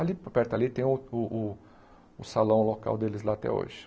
Ali, perto ali, tem o o o o salão local deles lá até hoje.